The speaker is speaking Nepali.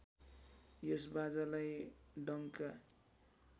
यस बाजालाई डङ्का